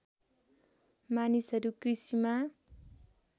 मानिसहरू कृषिमा